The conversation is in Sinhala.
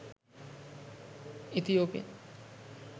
ethiopian